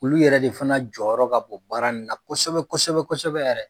Olu yɛrɛ de fana jɔyɔrɔ ka bon baara in na kosɛbɛ kosɛbɛ kosɛbɛ yɛrɛ.